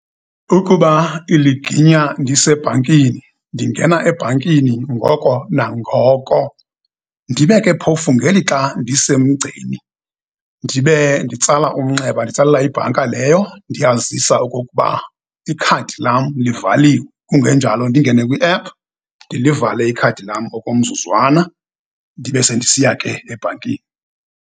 Ukuba iliginya ndisebhankini, ndingena ebhankini ngoko nangoko. Ndibe ke phofu, ngelixa ndisemgceni ndibe nditsala umnxeba, nditsalela ibhanka leyo, ndiyayazisa okokuba ikhadi lam livaliwe, kungenjalo, ndingene kwiephu, ndilivale ikhadi lam okomzuzwana, ndibe sendisiya ke ebhankini.